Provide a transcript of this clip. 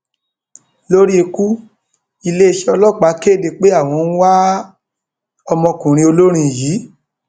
lórí ikú iléeṣẹ ọlọpàá kéde pé àwọn ń wá ọmọkùnrin olórin yìí